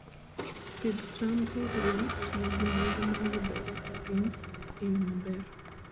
Pidh cham oriwo tiyo gi mwandu ma yudore e piny e yo maber.